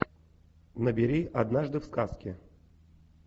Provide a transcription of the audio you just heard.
набери однажды в сказке